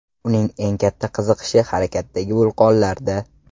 Uning eng katta qiziqishi harakatdagi vulqonlarda.